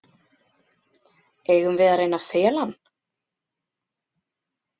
Eigum við að reyna að fela hann?